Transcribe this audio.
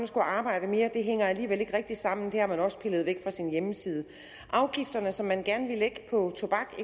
skulle arbejde mere alligevel ikke rigtig hænger sammen det har man også pillet væk fra sin hjemmeside afgifterne som man gerne eksempelvis ville lægge på tobak